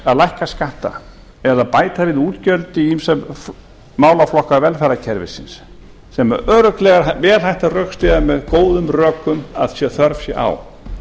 að lækka skatta eða bæta við útgjöld í ýmsa málaflokka velferðarkerfisins sem er örugglega vel hægt að rökstyðja með góðum rökum að þörf sé á